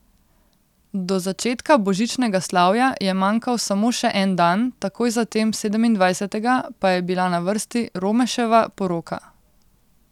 Do začetka božičnega slavja je manjkal samo še en dan, takoj zatem, sedemindvajsetega, pa je bila na vrsti Romeševa poroka.